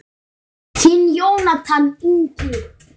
Þinn Jónatan Ingi.